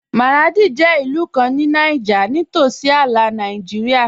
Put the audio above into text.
Maradi jẹ ilù kàn ní Nàìjírìà, ní tósí àlà Nàìjírìà.